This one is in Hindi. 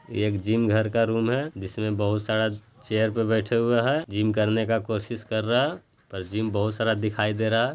ये एक जिम घर का रुम है जिसमे बहुत सारा चेयर पे बैठे हुए हा जिम करने का कोशिश कर रहा और जिम बहुत सारा दिखाई दे रहा।